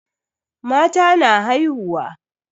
Mata na haihuwa.